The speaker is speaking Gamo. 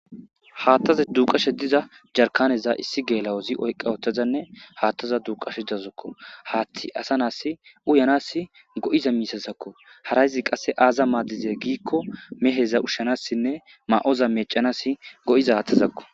haattaza duuqasha diza jarkaneza issi geelawozi oyqa wotazanne haattaza duuqashe dazakko haatti asa naas uyanas go'iza miisazakko harayzi qasse aaza maadize giikko meheza ushshanassinne ma7oza meecanas go'iza hatazakko